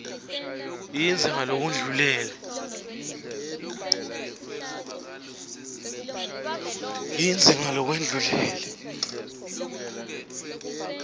lasetulu ekuncishwa kwetenhlalakahle